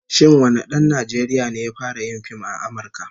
Shin wane dan Najeriya ne ya fara yin fim a Amurka?